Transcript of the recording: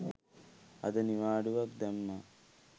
අද නිවාඩුවක් දැම්ම